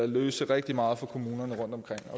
løse rigtig meget for kommunerne rundtomkring